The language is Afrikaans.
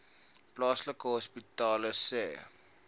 plaaslike hospitale sê